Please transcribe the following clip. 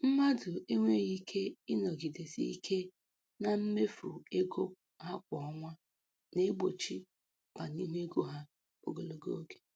Mmadụ enweghị ike ịnọgidesi ike na mmefu ego ha kwa ọnwa na-egbochi ọganihu ego ha ogologo oge.